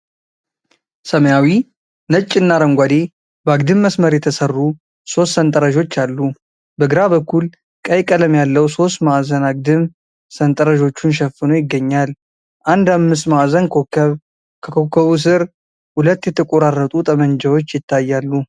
ሰማያዊ፣ ነጭ እና አረንጓዴ በአግድም መስመር የተሰሩ ሦስት ሰንጠረዦች አሉ። በግራ በኩል ቀይ ቀለም ያለው ሦስት ማዕዘን አግድም ሰንጠረዦቹን ሸፍኖ ይገኛል። አንድ አምስት ማዕዘን ኮከብ ።ከኮከቡ ስር ሁለት የተቆራረጡ ጠመንጃዎች ይታያሉ።